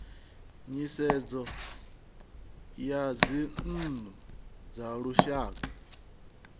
nisedzo ya dzinnu dza lushaka